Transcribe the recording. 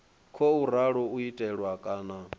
khou ralo u itiwa kana